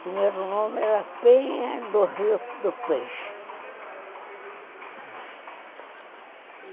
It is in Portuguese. Primeiro nome era Penha do Rio do Peixe.